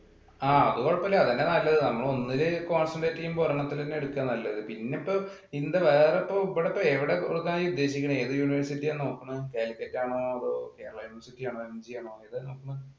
ആ അത് കൊഴപ്പമില്ല. അത് തന്നെയാ നല്ലത്. നമ്മൾ ഒന്നിൽ concentrate ചെയ്യുമ്പോൾ ഒരെണ്ണത്തിൽ തന്നെ എടുക്കുക നല്ലത്. പിന്നിപ്പം ഇന്ത വേറെ ഇപ്പൊ ഇവിടെ എവിടാ കൊടുക്കാനാ നീ ഉദ്ദേശിക്കണേ. ഏതു university ആ നോക്കണേ? Calicut ആണോ അതോ Kerala university ആണോ